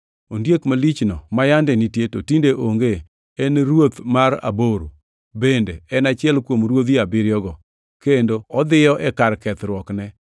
Ondiek malichno ma yande nitie, to tinde onge, en ruoth mar aboro. Bende en achiel kuom ruodhi abiriyogo, kendo odhiyo e kar kethruokne.